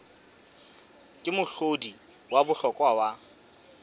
ke mohlodi wa bohlokwa wa